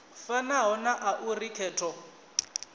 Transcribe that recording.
fanaho na a uri khetho